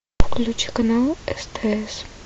включи канал стс